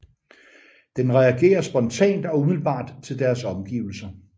Den reagerer spontant og umiddelbart til deres omgivelser